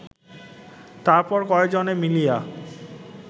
তার পর কয় জনে মিলিয়া